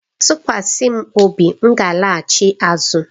Tụkwasị m obi, m ga-alaghachi azụ.